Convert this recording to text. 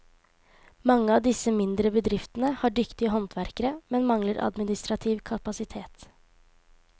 Mange av disse mindre bedriftene har dyktige håndverkere, men mangler administrativ kapasitet.